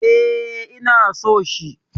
E, ina so shi.